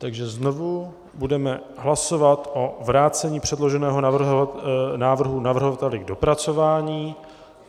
Takže znovu, budeme hlasovat o vrácení předloženého návrhu navrhovateli k dopracování.